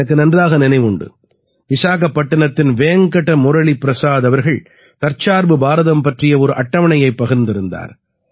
எனக்கு நன்றாக நினைவுண்டு விசாகப்பட்டினத்தின் வேங்கட முரளி பிரசாத் அவர்கள் தற்சார்பு பாரதம் பற்றிய ஒரு அட்டவணையைப் பகிர்ந்திருந்தார்